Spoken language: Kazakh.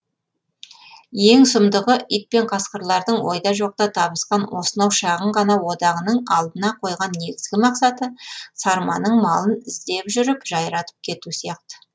ең сұмдығы ит пен қасқырлардың ойда жоқта табысқан осынау шағын ғана одағының алдына қойған негізгі мақсаты сарманың малын іздеп жүріп жайратып кету сияқты